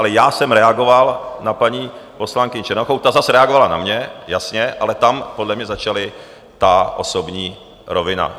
Ale já jsem reagoval na paní poslankyni Černochovou, ta zase reagovala na mě, jasně, ale tam podle mě začala ta osobní rovina.